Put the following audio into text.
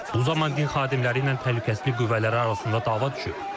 Bu zaman din xadimləri ilə təhlükəsizlik qüvvələri arasında dava düşüb.